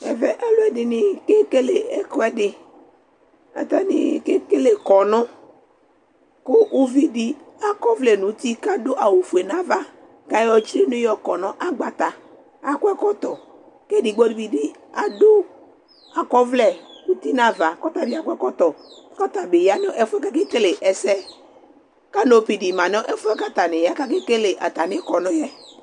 Ɛvɛ alu ɛdini kekele ekuɛdi, atani kekele kɔnu ku ivɩ di ak'ɔʋlɛ k'adu awu fue n'ava k'ayɔ tsini yɔ kɔ n'agbata, akɔ ɛkɔtɔ k'edigbo di bi adu akɔ'ʋlɛ uti n'ava k'ɔta bi akɔ ɛkɔtɔ, k'ɔta bi ya nu ɛfuɛ k'akekele ɛsɛ, kanopi di ma nu ɛfuɛ k'atani ya k'ake kele atami kɔnu yɛ